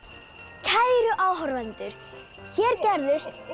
kæru áhorfendur hér gerðust